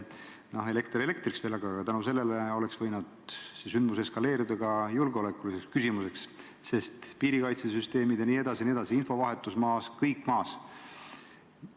Noh, elekter elektriks, aga see sündmus oleks võinud eskaleeruda julgeolekuliseks ohuks – piirikaitsesüsteemid ja infovahetus olid ka maas.